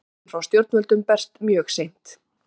Hjálpin frá stjórnvöldum berst mjög seint